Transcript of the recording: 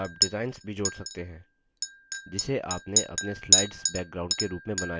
आप डिजाइन्स भी जोड़ सकते हैं जिसे आपने अपने स्लाइड्स बैकग्राउंड के रूप में बनाया है